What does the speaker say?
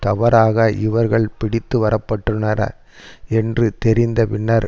தவறாக இவர்கள் பிடித்து வரப்பட்டுள்ளனர் என்று தெரிந்தபின்னர்